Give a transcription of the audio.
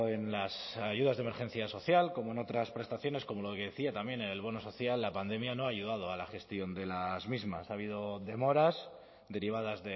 en las ayudas de emergencia social como en otras prestaciones como lo que decía también en el bono social la pandemia no ha ayudado a la gestión de las mismas ha habido demoras derivadas